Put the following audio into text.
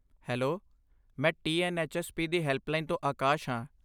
Hello! ਮੈਂ TNHSP. ਦੀ helpline ਤੋਂ ਆਕਾਸ਼ ਹਾਂ।